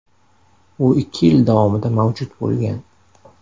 U ikki yil davomida mavjud bo‘lgan.